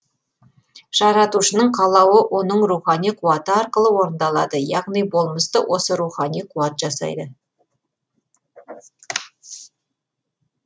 жаратушының қалауы оның рухани қуаты арқылы орындалады яғни болмысты осы рухани қуат жасайды